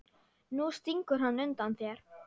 Nú stingur hann undan þér!